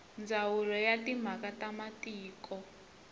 ndzawulo ya timhaka ta matiko